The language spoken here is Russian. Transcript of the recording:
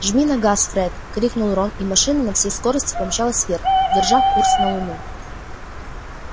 жми на газ фред крикнул рон и машина на всей скорости помчалась вверх держа курс на луну